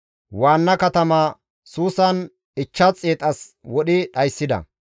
Waanna katama Suusan 500 as wodhi dhayssida.